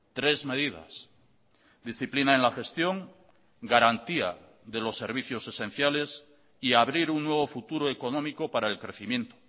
tres medidas disciplina en la gestión garantía de los servicios esenciales y abrir un nuevo futuro económico para el crecimiento